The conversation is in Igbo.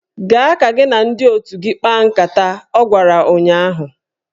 Gaa ka gị na ndị otu gị kpaa nkata! Ọ gwara ụnyaahụ